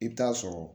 I bɛ taa sɔrɔ